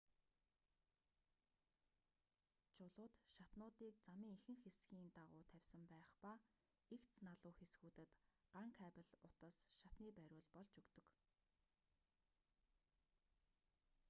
чулууд шатнуудыг замын ихэнх хэсгийн дагуу тавьсан байх ба эгц налуу хэсгүүдэд ган кабель утас шатны бариул болж өгдөг